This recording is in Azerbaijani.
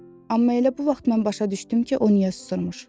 Amma elə bu vaxt mən başa düşdüm ki, o niyə susmuş.